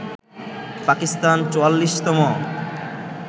Pakistan ৪৪তম